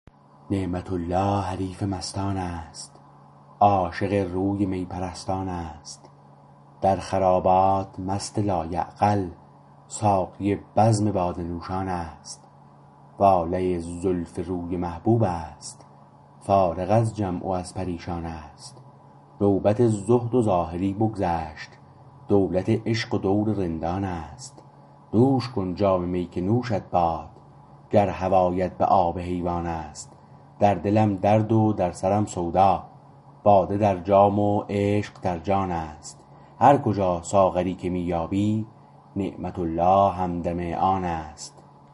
نعمت الله حریف مستان است عاشق روی می پرستان است در خرابات مست لایعقل ساقی بزم باده نوشان است واله زلف روی محبوب است فارغ از جمع و از پریشان است نوبت زهد و زاهدی بگذشت دولت عشق و دور رندان است نوش کن جام می که نوشت باد گر هوایت به آب حیوان است در دلم درد و در سرم سودا باده درجام و عشق در جان است هرکجا ساغری که می یابی نعمت الله همدم آن است